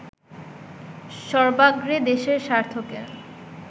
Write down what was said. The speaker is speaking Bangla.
সর্বাগ্রে দেশের স্বার্থকে